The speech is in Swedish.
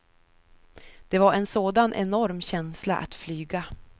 Det var en sådan enorm känsla att flyga.